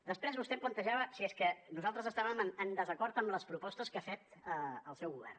després vostè em plantejava si és que nosaltres estàvem en desacord amb les propostes que ha fet el seu govern